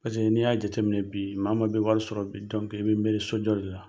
Paseke n'i y'a jateminɛ bi maa maa bɛ wari sɔrɔ bi i bɛ miiri sojɔ de la.